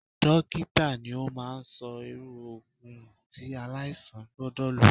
Dókítà ni ó máa ń sọ irú Ògùn tí aláìsàn gbọ́dọ̀ lọ.